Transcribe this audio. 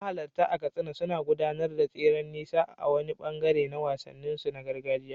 Mahalarta a Katsina suna gudanar da tseren nisa a wani ɓangare na wasanninsu na gargajiya.